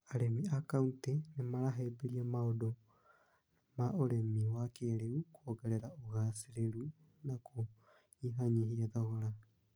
Arĩmi a kauntĩ nĩmarahĩbĩria maũndũ ma ũrimi wakĩrĩu kũongerere ũgacereru na kunyihanyihia thogora